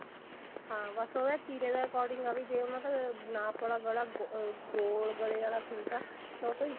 ਹਾਂ ਬਸ ਉਹਦੇ ਤੀਰੇ ਦੇ according ਆ ਵੀ ਜੇ ਉਹਨਾ ਦਾ ਨਾਪ ਵਾਲਾ ਗਲਾ ah ਗੋਲ ਗਲੇ ਆਲਾ ਸੂਟ ਆ ਤਾਂ ਉਹ ਤੋਂ